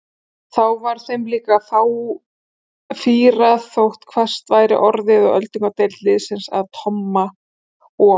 Þá var þeim líka fýrað þótt hvasst væri orðið og öldungadeild liðsins að Tomma og